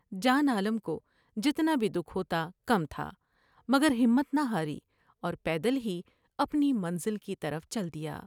جان عالم کو جتنا بھی دکھ ہوتا کم تھا مگر ہمت نہ ہاری اور پیدل ہی اپنی منزل کی طرف چل دیا ۔